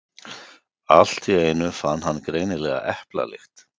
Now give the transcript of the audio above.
Allt í einu fann hann greinilega eplalykt.